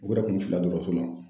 O yɛrɛ kun filila dɔtɔrɔso ma o.